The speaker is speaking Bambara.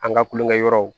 An ka kulonkɛ yɔrɔw